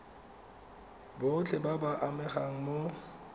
botlhe ba ba amegang mo